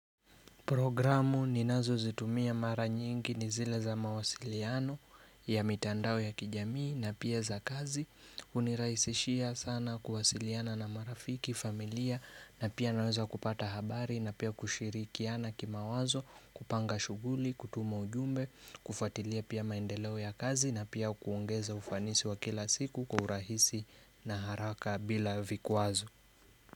Programu ninazo zitumia mara nyingi nizile za mawasiliano ya mitandao ya kijamii na pia za kazi unirahisishia sana kuwasiliana na marafiki, familia na pia naweza kupata habari na pia kushirikiana kima wazo kupanga shughuli, kutuma ujumbe, kufuatilia pia maendeleo ya kazi na pia kuongeza ufanisi wa kila siku kuhurahisi na haraka bila vikwazo.